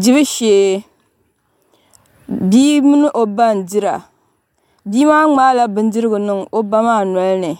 Dibu shee bia mini o ba n dira bia maa ŋmaala bindirigu n niŋ o ba maa nolini